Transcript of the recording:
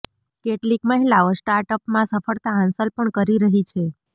કેટલીક મહિલાઓ સ્ટાર્ટ અપમાં સફળતા હાંસલ પણ કરી રહી છે